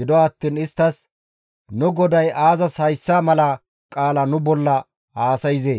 Gido attiin istti, «Nu goday aazas hayssa mala qaala nu bolla haasayzee?